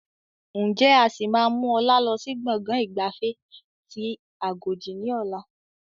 Ǹjẹ́ a sì máa mú ọlá lọ sí gbọ̀ngàn ìgbafẹ́ tí agodi ni ọ̀la?